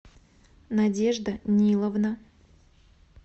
надежда ниловна